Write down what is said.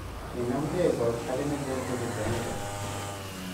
Kinamgei kot age ne lel kochut kanisa